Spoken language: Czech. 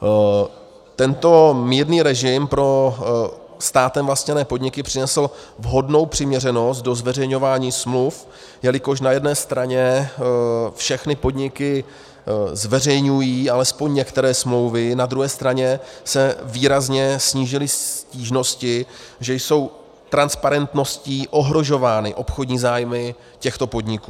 Tento mírný režim pro státem vlastněné podniky přinesl vhodnou přiměřenost do zveřejňování smluv, jelikož na jedné straně všechny podniky zveřejňují alespoň některé smlouvy, na druhé straně se výrazně snížily stížnosti, že jsou transparentností ohrožovány obchodní zájmy těchto podniků.